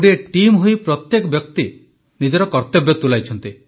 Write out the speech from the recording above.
ଗୋଟିଏ ଟିମ୍ ହୋଇ ପ୍ରତ୍ୟେକ ବ୍ୟକ୍ତି ନିଜର କର୍ତ୍ତବ୍ୟ ତୁଲାଇଛନ୍ତି